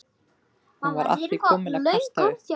Hún var að því komin að kasta upp.